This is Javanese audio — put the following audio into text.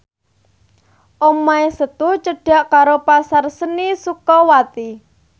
omahe Setu cedhak karo Pasar Seni Sukawati